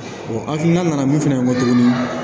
O hakilina nana min fɛnɛ tuguni